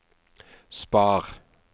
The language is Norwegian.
spar